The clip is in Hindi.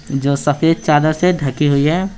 जो सफेद चादर से ढकी हुई है।